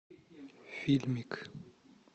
фильмик